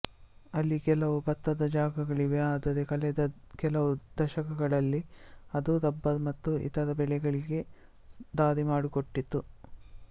ಅಲ್ಲಿ ಕೆಲವು ಭತ್ತದ ಜಾಗಗಳಿವೆ ಆದರೆ ಕಳೆದ ಕೆಲವು ದಶಕಗಳಲ್ಲಿ ಅದು ರಬ್ಬರ್ ಮತ್ತು ಇತರ ಬೆಳೆಗಳಿಗೆ ದಾರಿ ಮಾಡಿಕೊಟ್ಟಿತು